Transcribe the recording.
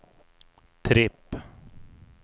tripp